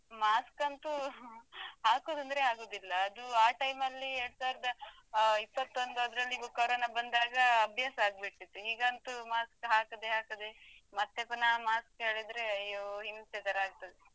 Mask ಅಂತೂ ಹಾಕುದoದ್ರೆ ಆಗುದಿಲ್ಲ ಅದು ಆ time ಲ್ಲಿ ಎರಡು ಸಾವಿರದ ಅಹ್ ಇಪ್ಪತ್ತೊಂದು ಅದರಲ್ಲಿ Corona ಬಂದಾಗ ಅಭ್ಯಾಸ ಆಗ್ಬಿಟ್ಟಿತ್ತು ಈಗಂತೂ mask ಹಾಕದೆ ಹಾಕದೆ ಮತ್ತೆ ಪುನಃ mask ಹೇಳಿದ್ರೆ ಅಯ್ಯೋ ಹಿಂಸೆ ತರ ಆಗ್ತದೆ.